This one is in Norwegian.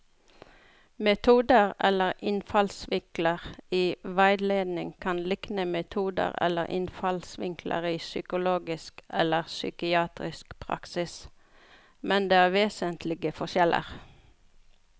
Metoder eller innfallsvinkler i veiledning kan likne metoder eller innfallsvinkler i psykologisk eller psykiatrisk praksis, men det er vesentlige forskjeller.